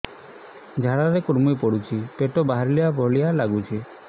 ଝାଡା ରେ କୁର୍ମି ପଡୁଛି ପେଟ ବାହାରିଲା ଭଳିଆ ଲାଗୁଚି